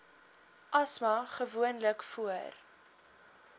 asma gewoonlik voor